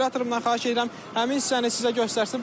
Operatorumdan xahiş edirəm həmin hissəni sizə göstərsin.